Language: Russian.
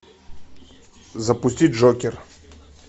запусти джокер